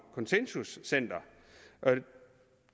consensus center